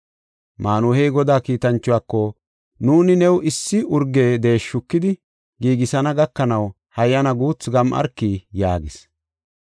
Maanuhey Godaa kiitanchuwako, “Nuuni new issi urge deeshi shukidi giigisana gakanaw hayyana guuthu gam7arki” yaagis.